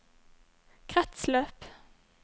kretsløp